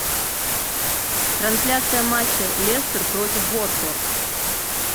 трансляция матча лестер против уотфорд